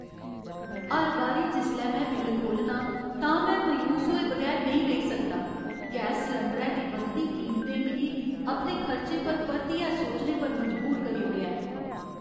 हर बारी जिसलै में बिल्ल खोह्लना आं, तां में मायूस होए बगैर नेईं रेही सकदा। गैस सलैंडरै दी बधदी कीमतें मिगी अपने खर्चें पर परतियै सोचने पर मजबूर करी ओड़ेआ ऐ।